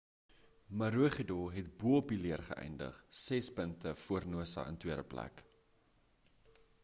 maroochydore het bo-op die leër geeïndig ses punte voor noosa in tweede plek